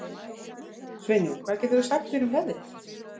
Sveinjón, hvað geturðu sagt mér um veðrið?